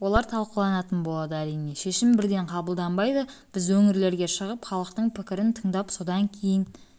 олар талқыланатын болады әрине шешім бірден қабылданбайды біз өңірлерге шығып халықтың пікірін тыңдап содан кейін